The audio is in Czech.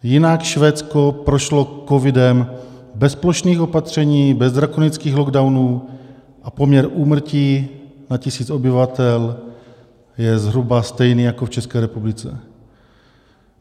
Jinak Švédsko prošlo covidem bez plošných opatření, bez drakonických lockdownů a poměr úmrtí na tisíc obyvatel je zhruba stejný jako v České republice.